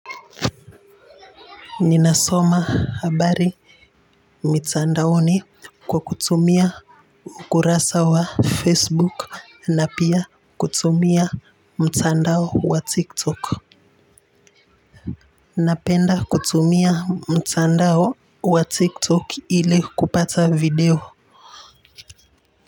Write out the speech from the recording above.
Ninasoma habari mitandaoni kwa kutumia ukurasa wa facebook na pia kutumia mtandao wa tiktok. Napenda kutumia mtandao wa tiktok ili kupata video.